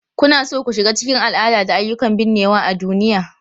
Kuna so ku shiga cikin al'ada da ayyukan binnewa a duniya?